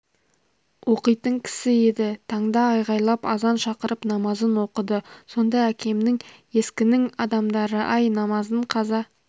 оқитын кісі еді таңда айғайлап азан шақырып намазын оқыды сонда әкемнің ескінің адамдары-ай намазын қаза